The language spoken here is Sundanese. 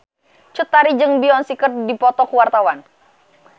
Cut Tari jeung Beyonce keur dipoto ku wartawan